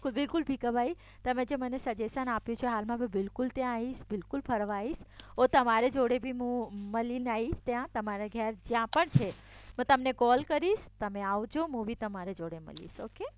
બિલકુલ ભીખાભાઇ તમે જે મને સજેશન આપ્યું છે હાલમાં મેં બિલકુલ ત્યાં આવીશ બિલકુલ ફરવા આવીશ હું તમારી જોડે બી મળવા આવીશ ત્યાં તમારી ઘરે જ્યાં પણ છે હું તમને કોલ કરીશ તમે આવજો હું બી તમારી જોડે મળીશ ઓકે